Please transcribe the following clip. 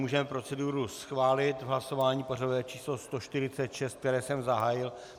Můžeme proceduru schválit v lasování pořadové číslo 146, které jsem zahájil.